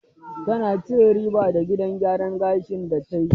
Ta na cin riba da gidan gyaran gashin da ta yi.